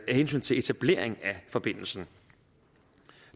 hensyn til etablering af forbindelsen